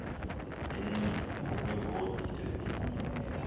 lenqila ngokweevoti ezifumeneyo